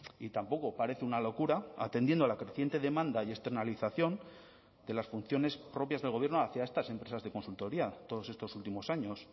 y tampoco parece una locura atendiendo a la creciente demanda y externalización de las funciones propias del gobierno hacia estas empresas de consultoría todos estos últimos años